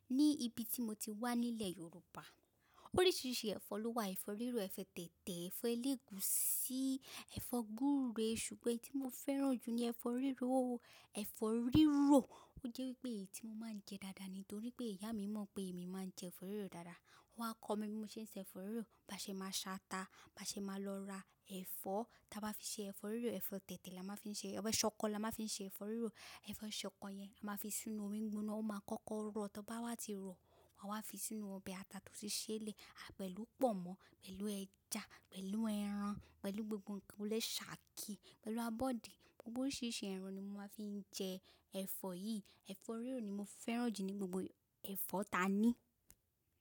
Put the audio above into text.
Ní ibi tí mo ti wá nílẹ̀ Yorùbá, oríṣiríṣi ẹ̀fọ́ ló wà. Ẹ̀fọ́ rírò, ẹ̀fọ́ tètè, ẹ̀fọ́ eléegún, sí ẹ̀fọ́ gúre. Ṣùgbọ́n tí mo fẹ́ràn jù ni ẹ̀fọ́ rírò. Ẹ̀fọ́ rírò, ó jẹ́ pé èyí tí mo máa ń jẹ dáadáa nítorí pé ìyá mi mọ̀ pé èmi máa ń jẹ ẹ̀fọ́ rírò dáadáa. Ó máa kọ mí bí mo ṣe ń se ẹ̀fọ́ rírò. Bá ṣe máa sa ata, bá ṣe máa lọ ra ẹ̀fọ́, tí a bá fi ṣe ẹ̀fọ́ rírò, ẹ̀fọ́ tètè la máa fi ṣe, ọbẹ̀ ṣọkọ la máa fi ṣe ẹ̀fọ́ rírò. Ẹ̀fọ́ ṣọkọ yẹn a máa fi sínú omi ìgbóná, ó máa kọ́kọ́ rọ̀. Tí bá wá ti rọ, wa wá fi sínú ọbẹ̀ ata tó ti ṣẹ́lẹ̀, a pẹ̀lú pọ̀nmọ́, pẹ̀lú ẹja, pẹ̀lú ẹran, pẹ̀lú gbogbo ǹkan tó lè ṣákí, pẹ̀lú abọ́dé. Gbogbo oríṣiríṣi ẹran ni a máa fi ń jẹ ẹ̀fọ́ yìí. Ẹ̀fọ́ rírò ni mo fẹ́ràn jù ní gbogbo ẹ̀fọ́ ta ní.